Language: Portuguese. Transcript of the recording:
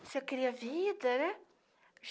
Você cria vida, né?